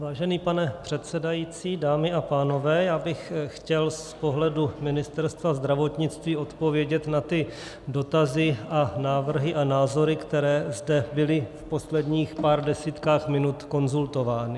Vážený pane předsedající, dámy a pánové, já bych chtěl z pohledu Ministerstva zdravotnictví odpovědět na ty dotazy a návrhy a názory, které zde byly v posledních pár desítkách minut konzultovány.